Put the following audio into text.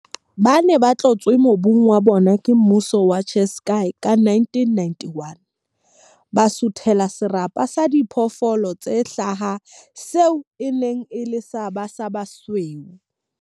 Ba ne ba tloswe mobung wa bona ke mmuso wa Ciskei ka 1991, ba suthela serapa sa diphoofolo tse hlaha seo e neng e le sa ba basweu.